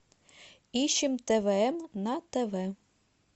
ищем твм на тв